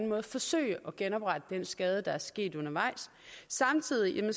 måde forsøge at genoprette den skade der er sket undervejs samtidig har